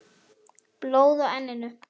Blóð á enninu.